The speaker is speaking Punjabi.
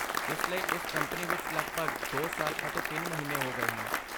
ਇਸ ਲਈ, ਇਸ ਕੰਪਨੀ ਵਿੱਚ ਲਗਭਗ ਦੋ ਸਾਲ ਅਤੇ ਤਿੰਨ ਮਹੀਨੇ ਹੋ ਗਏ ਹਨ?